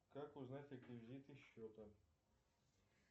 как узнать реквизиты счета